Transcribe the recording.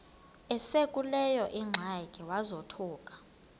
esekuleyo ingxaki wazothuka